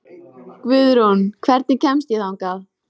Guðrún, hvernig kemst ég þangað?